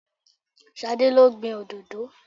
Ṣadé lo gbìn òdòdó.